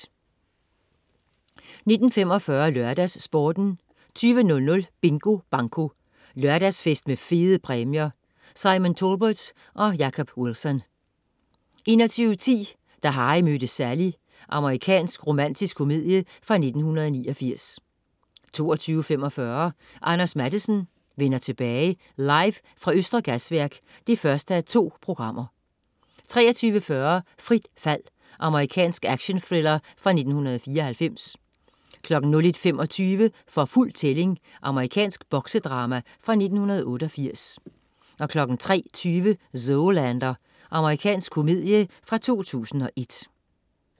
19.45 LørdagsSporten 20.00 Bingo Banko. Lørdagsfest med fede præmier. Simon Talbot og Jacob Wilson 21.10 Da Harry mødte Sally. Amerikansk romantisk komedie fra 1989 22.45 Anders Matthesen: Vender tilbage. Live fra Østre Gasværk 1:2 23.40 Frit fald. Amerikansk actionthriller fra 1994 01.25 For fuld tælling. Amerikansk boksedrama fra 1988 03.20 Zoolander. Amerikansk komedie fra 2001